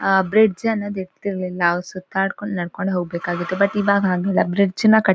ಅಹ್ bridge ಅನ್ನೋದಿತ್ತು ಇಲ್ಲ್ ನಾವ್ ಸುತ್ತಾಡ ಕೊಂಡ್ ನಡ್ಕೊಂಡ್ ಹೋಗ್ಬೇಕಾಗಿತ್ತು. ಬಟ್ ಇವಾಗ್ ಹಂಗಿಲ್ಲಾ ಬ್ರಿಡ್ಜ್ ಯನ್ನ ಕಟ್--